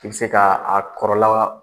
I bɛ se ka a kɔrɔ la